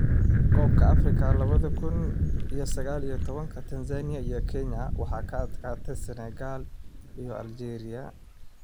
Kobka afrika labada kun iyo sagal iyo tobanka Tanzania iyo Kenya waxaa ka adkaaday Senegal iyo Algeria